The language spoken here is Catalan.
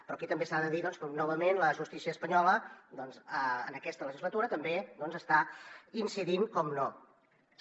però aquí també s’ha de dir que novament la justícia espanyola en aquesta legislatura també hi està incidint naturalment